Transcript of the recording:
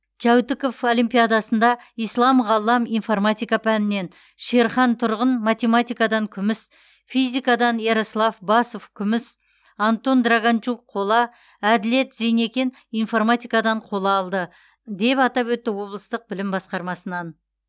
жәутіков олимпиадасында ислам ғаллам информатика пәнінен шерхан тұрғын математикадан күміс физикадан ярослав басов күміс антон драганчук қола әділет зейнекен информатикадан қола алды деп атап өтті облыстық білім басқармасынан